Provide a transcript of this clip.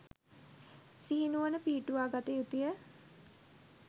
සිහිනුවණ පිහිටුවාගත යුතුය.